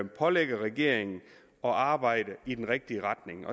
pålægger regeringen at arbejde i den rigtige retning